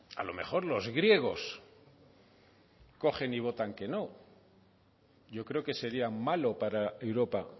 a lo mejor los griegos cogen y votan que no yo creo que sería malo para europa